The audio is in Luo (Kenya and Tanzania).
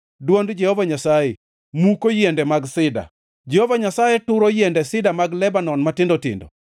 Dwond Jehova Nyasaye muko yiende mag sida, Jehova Nyasaye turo yiende sida mag Lebanon matindo tindo.